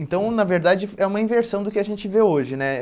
Então, na verdade, é uma inversão do que a gente vê hoje, né?